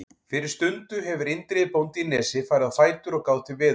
Fyrir stundu hefur Indriði bóndi í Nesi farið á fætur og gáð til veðurs.